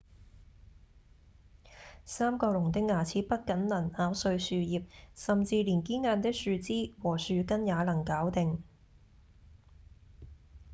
三角龍的牙齒不僅能咬碎樹葉甚至連堅硬的樹枝和樹根也能搞定